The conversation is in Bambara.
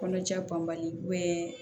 Kɔnɔja banbali